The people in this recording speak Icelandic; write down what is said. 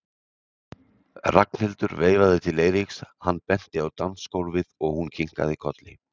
Ragnhildur veifaði til Eiríks, hann benti á dansgólfið og hún kinkaði kolli.